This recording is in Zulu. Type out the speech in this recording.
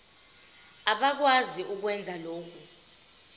abakwazi ukwenza lokhu